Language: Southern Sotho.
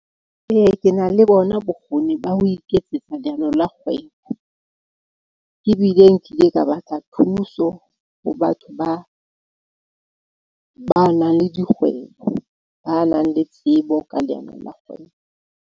Ee, ke na le bona bokgoni ba ho iketsetsa leano la kgwebo. Ebile nkile ka batla thuso ho batho ba nang le dikgwebo, ba nang le tsebo ka leano la kgwebo.